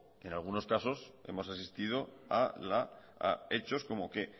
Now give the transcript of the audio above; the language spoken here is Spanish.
en algunos casos hemos asistido a hechos como que